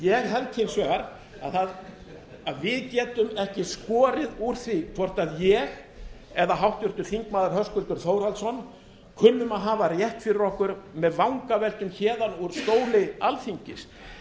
ég held hins vegar að við getum ekki skorið úr því hvort ég eða háttvirtur þingmaður höskuldur þórhallsson kunnum að hafa rétt fyrir okkur með vangaveltum héðan úr stóli alþingis